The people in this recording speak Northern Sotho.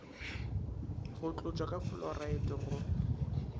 go tlotšwa ka fluoride go